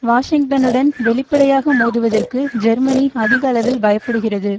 வாஷிங்டனுடன் வெளிப்படையாக மோதுவதற்கு ஜெர்மனி அதிக அளவில் பயப்படுகிறது